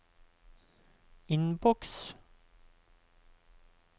innboks